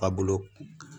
A bolo